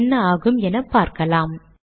என்ன ஆகும் என பார்க்கலாம்